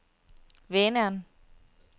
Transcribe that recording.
Vänern